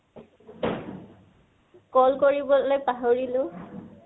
call কৰিবলৈ পাহৰিলো